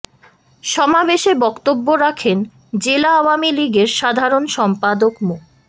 সমাবেশে বক্তব্য রাখেন জেলা আওয়ামী লীগের সাধারণ সম্পাদক মো